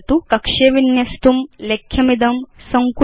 कक्षे विन्यस्तुं लेख्यमिदं सङ्कुचतु